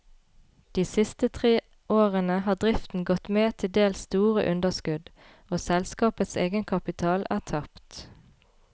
De siste tre årene har driften gått med til dels store underskudd, og selskapets egenkapital er tapt.